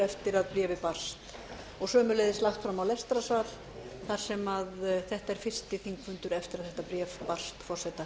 eftir að bréfið barst og sömuleiðis lagt fram á lestrarsal þar sem þetta er fyrsti þingfundur eftir að þetta bréf barst forseta